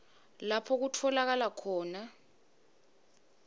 lapho kutfolakala khona